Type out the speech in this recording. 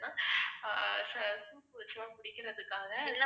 ஆஹ் soup வச்சுலாம் குடிக்குறதுக்காக